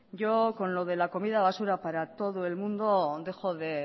yo con lo de la comida basura para todo el mundo dejo de